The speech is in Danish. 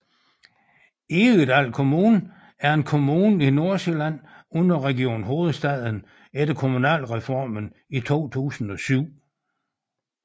Egedal Kommune er en kommune i Nordsjælland under Region Hovedstaden efter Kommunalreformen i 2007